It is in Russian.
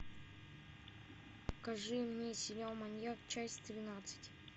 покажи мне сериал маньяк часть тринадцать